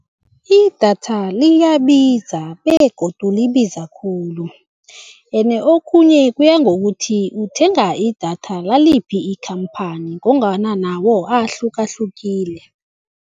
Idatha liyabiza begodu libiza khulu ene okhunye kuya ngokuthi uthenga idatha laliphi ikhamphani ngombana nawo ahlukahlukile.